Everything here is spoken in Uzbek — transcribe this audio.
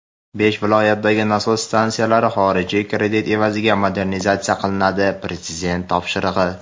Besh viloyatdagi nasos stansiyalari xorijiy kredit evaziga modernizatsiya qilinadi — Prezident topshirig‘i.